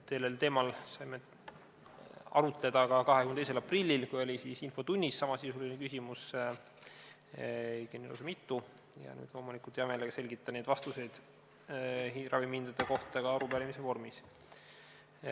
Sellel teemal saime arutleda ka 22. aprillil, kui infotunnis oli samasisuline küsimus, õigemini lausa mitu, ja nüüd loomulikult hea meelega selgitan ja annan vastuseid ravimihindade kohta ka arupärimise vormis.